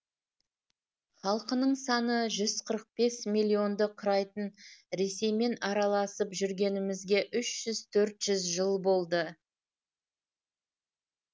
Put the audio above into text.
халқының саны жүз қырық бес миллионды құрайтын ресеймен араласып жүргенімізге үш жүз төрт жүз жыл болды